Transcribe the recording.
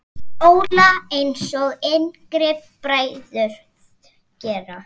Óla, einsog yngri bræður gera.